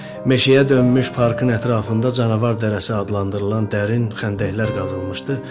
Meşəyə dönmüş parkın ətrafında canavar dərisi adlandırılan dərin xəndəklər qazılmışdı.